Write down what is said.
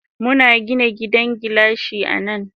Muna Gina gidan gilashi anan.